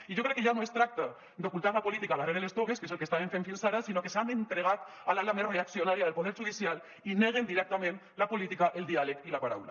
i jo crec que ja no es tracta d’ocultar la política darrere les togues que és el que estaven fent fins ara sinó que s’han entregat a l’ala més reaccionària del poder judicial i neguen directament la política el diàleg i la paraula